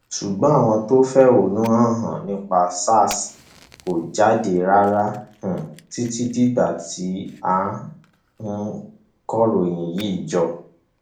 ṣùgbọn àwọn tó ń fẹhónú hàn nípa sars kò jáde rárá um títí dìgbà tí à ń um kọròyìn yìí jọ